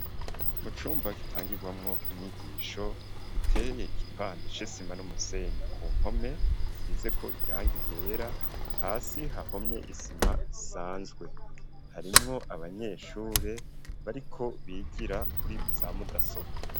Mu cumba gitangirwamwo inyigisho giteye igipande c'isima n'umusenyi, ku mpome hasizeko irangi ryera hasi hahomye isima isanzwe, harimwo abanyeshure bariko bigira kuri za mudasobwa.